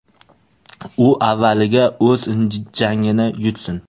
U avvaliga o‘z jangini yutsin.